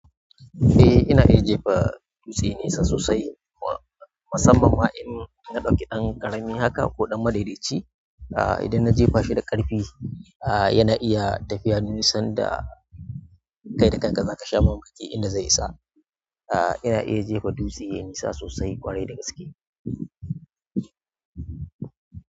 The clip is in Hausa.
Eh ina iya jefa dutse nesa sosai, musamman ma in ɗauki ɗan ƙarami haka ko ɗan madaidaci. Ah idan na jefa shi da ƙarfi, ah yana iya tafiya nisan da. Kaida kanka zakasha mamaki inda zai isa. Ah ina ita jefa dutse yayi nisa sosai kwarai da gaske.